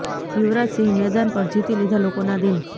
યુવરાજ સિંહે મેદાન પર જીતી લીધા લોકોના દિલ